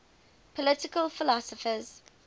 political philosophers